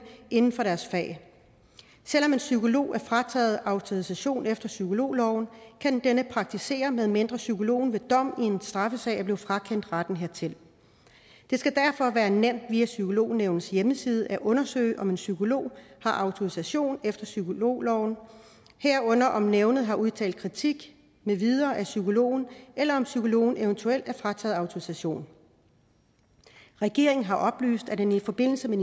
inden for deres fag selv om en psykolog er frataget autorisation efter psykologloven kan denne praktisere medmindre psykologen ved dom i en straffesag er blevet frakendt retten hertil det skal derfor være nemt via psykolognævnets hjemmeside at undersøge om en psykolog har autorisation efter psykologloven herunder om nævnet har udtalt kritik med videre af psykologen eller om psykologen eventuelt er frataget autorisation regeringen har oplyst at den i forbindelse med